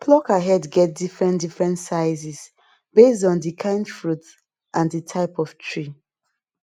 plucker head get different different sizes based on the kind fruit and the type of tree